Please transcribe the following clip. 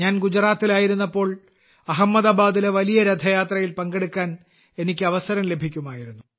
ഞാൻ ഗുജറാത്തിലായിരുന്നപ്പോൾ അഹമ്മദാബാദിലെ വലിയ രഥയാത്രയിൽ പങ്കെടുക്കാൻ എനിക്ക് അവസരം ലഭിക്കുമായിരുന്നു